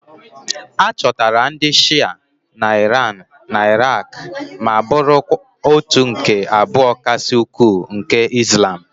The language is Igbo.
A chọtara ndị Shịa na Iran na Iraq ma bụrụ òtù nke abụọ kasị ukwuu nke Izlam